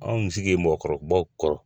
Anw sigi ye mɔgɔkɔrɔbaw kɔrɔ